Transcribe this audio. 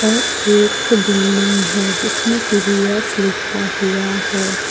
और एक बिल्डिंग है जिसमें टी_वी_एस लिखा हुआ है।